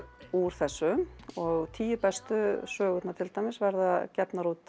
úr þessu og tíu bestu sögurnar til dæmis verða gefnar út